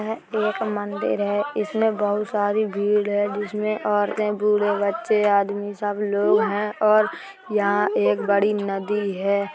यह एक मंदिर है इसमे बोहत सारी भीड़ है जिसमें औरते बूढ़े बच्चे आदमी सब लोग हैं और यह एक बड़ी नदी है।